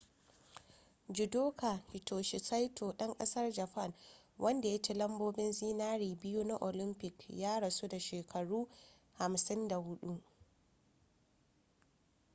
judoka hitoshi saito ɗan ƙasar japan wanda ya ci lambobin zinare biyu na olamfik ya rasu da shekaru 54